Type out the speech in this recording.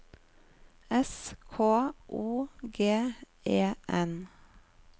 S K O G E N